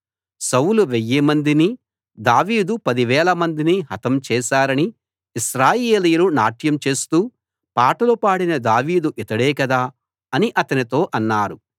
సౌలు వెయ్యిమందిని దావీదు పదివేలమందిని హతం చేసారని ఇశ్రాయేలీయులు నాట్యం చేస్తూ పాటలు పాడిన దావీదు ఇతడే కదా అని అతనితో అన్నారు